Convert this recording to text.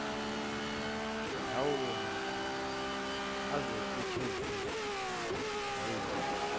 lawomakhono azokusetshenziswa ngayiphi